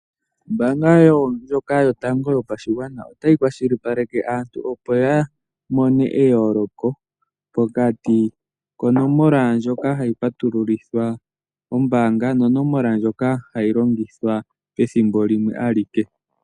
Ombaanga yotango yopashigwana otayitseyithile aantu ya tseye eyooloko pokati konomola mdjoka hai patululithwa ombaanga naandjoka hai longithwa pethimbo limwe alike.